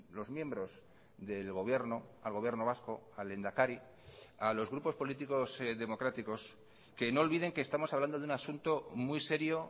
los miembros del gobierno al gobierno vasco al lehendakari a los grupos políticos democráticos que no olviden que estamos hablando de un asunto muy serio